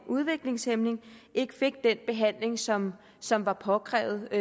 udviklingshæmmet ikke fik den behandling som som var påkrævet i